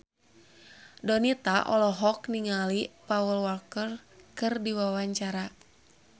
Donita olohok ningali Paul Walker keur diwawancara